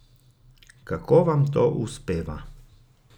Kako vam to uspeva?